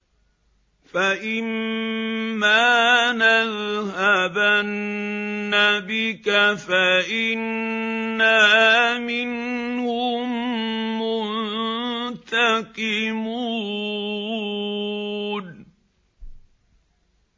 فَإِمَّا نَذْهَبَنَّ بِكَ فَإِنَّا مِنْهُم مُّنتَقِمُونَ